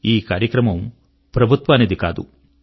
ఈ కార్యక్రమము ప్రభుత్వానికి కాదు